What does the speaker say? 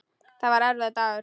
Þetta var erfiður dagur.